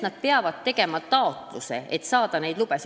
Nad peavad tegema taotluse, et selleks luba saada.